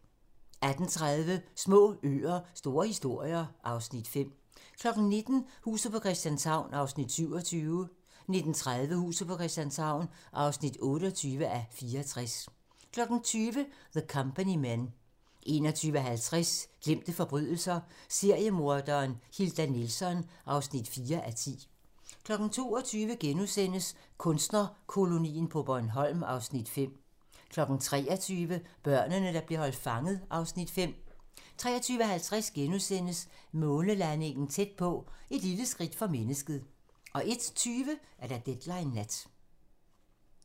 18:30: Små øer - store historier (Afs. 5) 19:00: Huset på Christianshavn (27:84) 19:30: Huset på Christianshavn (28:84) 20:00: The Company Men 21:50: Glemte forbrydelser - seriemorderen Hilda Nilsson (4:10) 22:00: Kunstnerkolonien på Bornholm (Afs. 5)* 23:00: Børnene, der blev holdt fanget (Afs. 5) 23:50: Månelandingen tæt på - Et lille skridt for mennesket * 01:20: Deadline nat